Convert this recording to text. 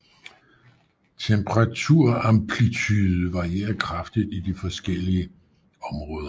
Temperaturamplitude varierer kraftigt i de forskellige områder